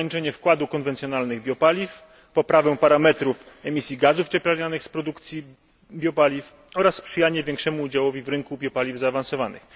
ograniczenie wkładu konwencjonalnych biopaliw, poprawę parametrów emisji gazów cieplarnianych z produkcji biopaliw oraz sprzyjanie większemu udziałowi w rynku biopaliw zaawansowanych.